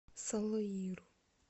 салаиру